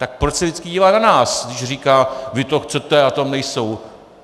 Tak proč se vždycky dívá na nás, když říká "vy to chcete a tam nejsou"?